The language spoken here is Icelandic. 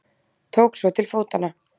Tók svo til fótanna.